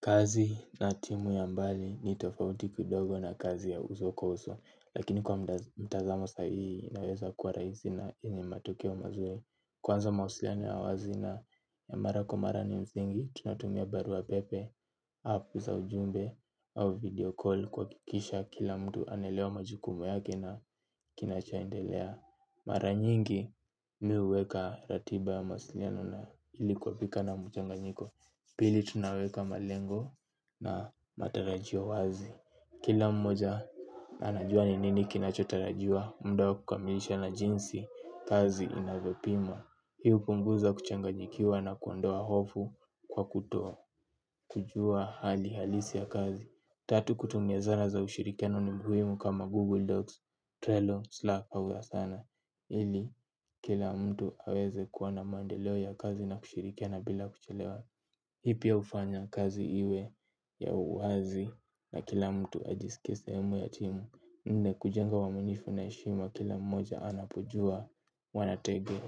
Kazi na timu ya mbali ni tofauti kidogo na kazi ya uso kwa uso, lakini kwa mtazamo sahii unaweza kuwa rahisi na yenye matokeo mazuri. Kwanza mawasiliano ya uhazina ya mara kwa mara ni msingi, tunatumia barua pepe, app za ujumbe au video call kuhakikisha kila mtu anaelewa majukumu yake na kinachoendelea. Mara nyingi mimi huweka ratiba ya mawasliano na ili kuepuka na mchanganyiko. Pili tunaweka malengo na matarajio wazi. Kila mmoja anajua ni nini kinachotarajiwa. Muda wa kukamilisha na jinsi kazi inavyopimwa. Hii hupunguza kuchanganyikiwa na kuondoa hofu kwa kutoa kujua hali halisi ya kazi. Tatu kutumia zara za ushirikiano ni muhimu kama Google Docs Trello, Slack, Pauza sana ili kila mtu aweze kuwa na maendeleo ya kazi na kushirikiana bila kuchelewa. Hii pia hufanya kazi iwe ya uwazi na kila mtu ajihisi sehemu ya timu. Nne kujenga uaminifu na heshima kila mmoja anapujua wanatege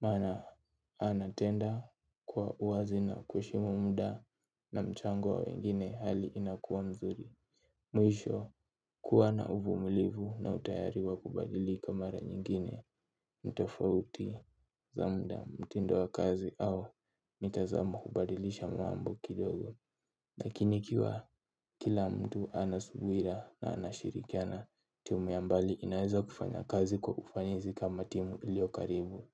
maana anatenda kwa uwazi na kuheshimu muda na mchango wa wengine hali inakuwa nzuri. Mwisho kuwa na uvumilivu na utayari wa kubadili kwa mara nyingine tofauti za muda, mtindo wa kazi au mtazamo kubadilisha mambo kidogo. Lakini ikiwa kila mtu anasubiriwa na anashirikiana timu ya mbali inaweza kufanya kazi kwa ufanisi kama timu iliokaribu.